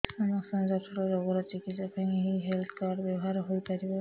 ସମସ୍ତ ଜଟିଳ ରୋଗର ଚିକିତ୍ସା ପାଇଁ ଏହି ହେଲ୍ଥ କାର୍ଡ ବ୍ୟବହାର ହୋଇପାରିବ